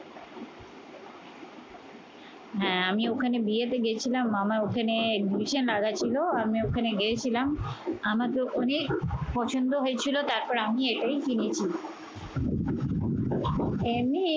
হ্যাঁ আমি ওখানে বিয়েতে গিয়েছিলাম, আমার ওখানে ছিল আমি ওখানে গিয়েছিলাম আমাকে অনেক পছন্দ হয়েছিল তারপর আমি এটাই কিনেছি এমনি